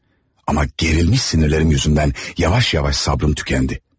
Amma gərilmiş sinirlərim yüzündən yavaş-yavaş sabrım tükəndi.